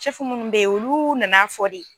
sɛfu mun be yen olu nana fɔ de